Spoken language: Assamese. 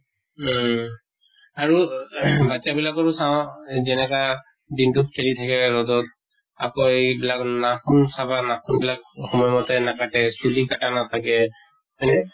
উম আৰু ing বাচ্ছা বিলাকৰো চাওঁ যেনেকা দিনটোত খেলি থাকে ৰʼদত। আকৌ এইবিলাক নাখুন চাবা, নাখুন বিলাক সময় মতে নাকাটে, চুলি কাটা নাথাকে হয় নে?